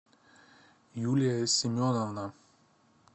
юлия семеновна